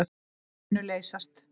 Þau munu leysast.